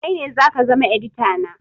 Kai ne zaka zama edita na